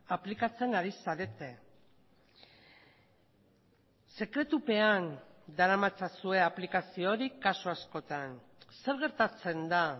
aplikatzen ari zarete sekretupean daramatzazue aplikazio hori kasu askotan zer gertatzen da